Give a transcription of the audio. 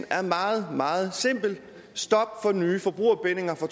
er meget meget simpel stop for nye forbrugerbindinger fra